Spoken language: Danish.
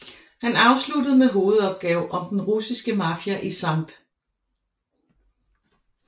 Han afsluttede med hovedopgave om den russiske mafia i Skt